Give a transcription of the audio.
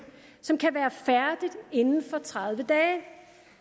som kan være færdigt inden for tredive dage